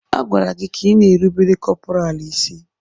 A gwara gị ka ịna-erubere kọpọraalụ isí!